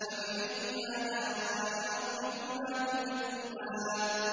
فَبِأَيِّ آلَاءِ رَبِّكُمَا تُكَذِّبَانِ